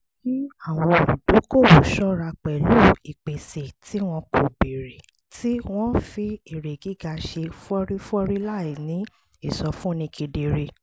kí àwọn olùdókòwò ṣọ́ra pẹ̀lú ìpèsè tí wọn kò béèrè tí wọ́n ń fi èrè gíga ṣe fọ́rífọ́rí láì ní ìsọfúnni kedere